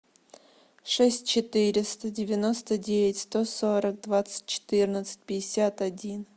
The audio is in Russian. шесть четыреста девяносто девять сто сорок двадцать четырнадцать пятьдесят один